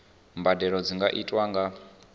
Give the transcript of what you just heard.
mbadelo dzi nga itwa nga